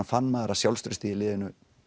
fann maður að sjálfstraustið í liðinu